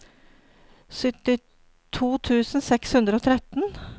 syttito tusen seks hundre og tretten